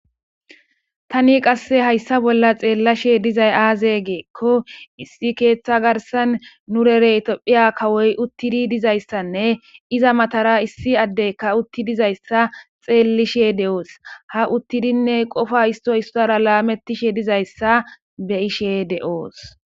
Tani qasse hayssa bolla xeellashe dizay aaze geekko issi keeththa garsan nu rerey tophiya kawoy uttidi dizayssanne iza matara issi addeykka utti dizayssa xeellishe de7oos ha uttidinne qofa istoy issara laametishe dizayssa beyishe de7oos.